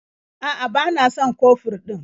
A'a, ba na son kofur ɗin.